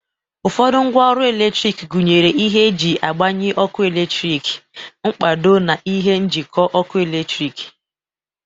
Ụfọdụ ngwa ọrụ eletrik gunyere ihe e ji agbanye ọkụ eletrik, mkpado, na ihe njịkọ ọkụ eletrik